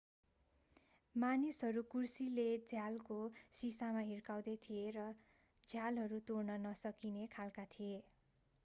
मानिसहरू कुर्सीले झ्यालको शिशामा हिर्काउँदै थिए तर झ्यालहरू तोड्न नसकिने खालका थिए